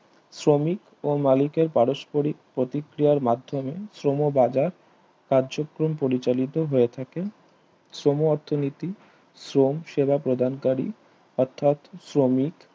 আর্মিক ও মালিকের পারস্পরিক প্রতিক্রিয়ার মাধ্যমে শ্রম বাজার কার্যক্রম পরিচালিত হয়ে থাকেন শ্রম অর্থনীতি শ্রম সেবা প্রদান করি অর্থাৎ শ্রমিক